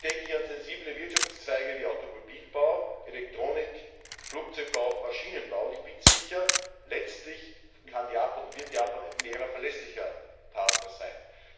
Ich denke hier an sensible Wirtschaftszweige wie Automobilbau, Elektronik, Flugzeug und Maschinenbau. Ich bin sicher, letztlich kann und wird Japan ein fairer und verlässlicher Partner sein.